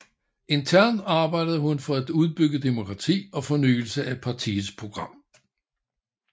Internt arbejdede hun for et udbygget demokrati og fornyelse af partiets program